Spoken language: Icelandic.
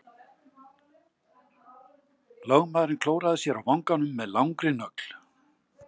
Lögmaðurinn klóraði sér á vanganum með langri nögl.